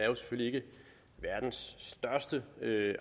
verdens største